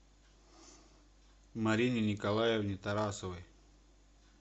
марине николаевне тарасовой